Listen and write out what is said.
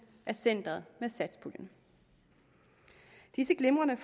af centeret med satspuljen disse glimrende